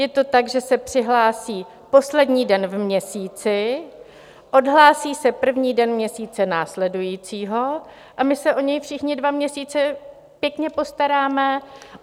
Je to tak, že se přihlásí poslední den v měsíci, odhlásí se první den měsíce následujícího a my se o něj všichni dva měsíce pěkně postaráme.